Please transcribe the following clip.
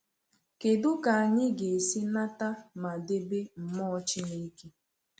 Kedụ ka anyị ga-esi nata ma debe mmụọ Chineke?